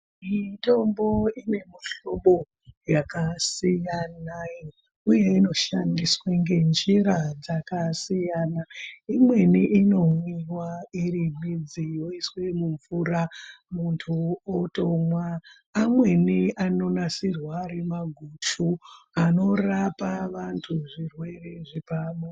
Mitombo ine mishwobo yakasiyana uye inoshandiswaa ngenjiraa dzakasiyana , imweni inomwiwa iri midzi yoiswe mumvura, mundu otomwa, amweni anonasirwa ari maguchu anorapa vandu zvirwere zvepabonde.